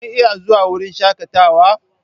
ku iya zuwa wurin shakatawa?